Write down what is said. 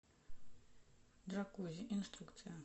джакузи инструкция